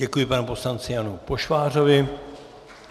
Děkuji panu poslanci Janu Pošvářovi.